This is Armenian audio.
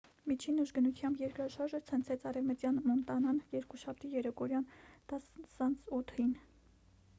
միջին ուժգնությամբ երկրաշարժը ցնցեց արևմտյան մոնտանան երկուշաբթի երեկոյան 10։08-ին: